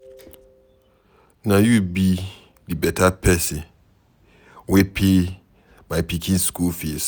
Na you be the beta person wey pay my pikin school fees?